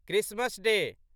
Christmas day